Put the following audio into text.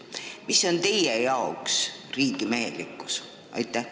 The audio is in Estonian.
Mis on teie jaoks riigimehelikkus?